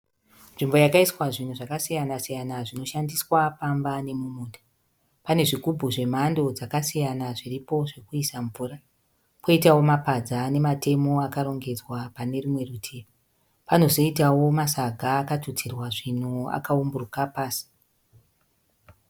Nzvimbo yakaiswa zvinhu zvakasiyanasiyana zvinoshandiswa pamba nomumunda. Pane zvigubhu zvemhando dzakasiyana zviripo zvokuisa mvura, kwoitawo mapadza namatemo akarongedzwa pane rumwe rutivi. Panozoitawo masaga akatutirwa zvinhu akaumburuka pasi.